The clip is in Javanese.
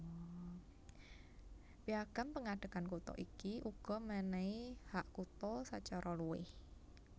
Piagam pengadegan kutha iki uga menehi hak kutha sacara luwih